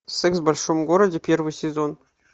секс в большом городе первый сезон